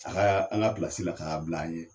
A ka an ka pilasi la ka a bila an ɲɛ.